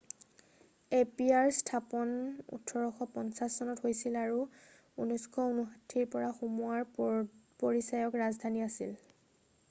appear স্থাপন 1850 চনত হৈছিল আৰু 1959ৰ পৰা সোমোৱাৰ পদপৰিচায়ক ৰাজধানী আছিল